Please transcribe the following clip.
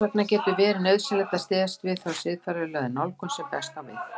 Þess vegna getur verið nauðsynlegt að styðjast við þá siðfræðilegu nálgun sem best á við.